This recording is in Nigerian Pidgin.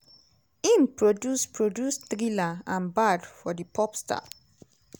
im produce produce thriller and bad for di pop star.